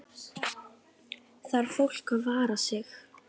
Þarf fólk að vara sig?